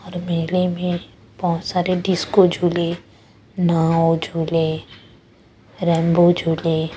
मेले में बहुत सारे डिस्को झूले नाव झूले रेंबो झूले--